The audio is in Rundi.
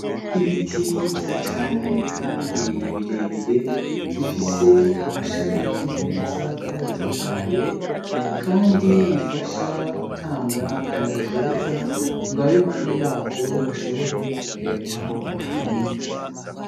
Ibiti vyiza cane kandi bire bire bifise amashami meza kandi atotahaye kandi bifasha gutanga akayaga keza ngo ab'impande yavyo bashobore guhema umuyaga mwiza.